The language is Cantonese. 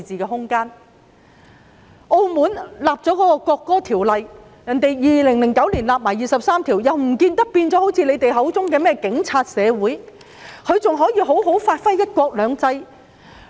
澳門早已訂立國歌法例，並已在2009年為第二十三條立法，但卻不見得現已變成他們口中的"警察社會"，而是依然能夠好好地發揮"一國兩制"。